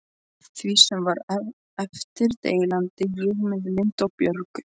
Því sem var eftir deildi ég með Lindu og Björgu.